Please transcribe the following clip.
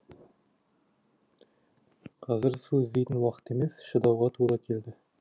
қазір су іздейтін уақыт емес шыдауға тура келді